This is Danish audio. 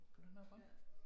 Skal du have noget vand?